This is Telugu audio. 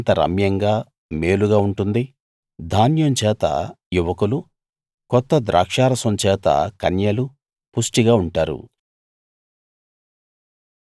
అది ఎంత రమ్యంగా మేలుగా ఉంటుంది ధాన్యం చేత యువకులు కొత్త ద్రాక్షారసం చేత కన్యలు పుష్టిగా ఉంటారు